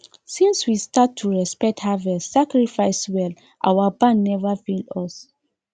since we start to respect harvest sacrifice well our barn never fail us